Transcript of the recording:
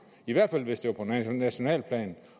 i hvert fald hvis det var på nationalt plan